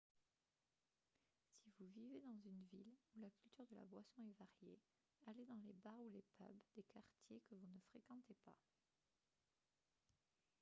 si vous vivez dans une ville où la culture de la boisson est variée allez dans les bars ou les pubs des quartiers que vous ne fréquentez pas